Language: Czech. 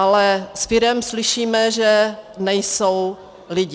Ale z firem slyšíme, že nejsou lidi.